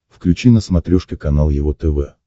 включи на смотрешке канал его тв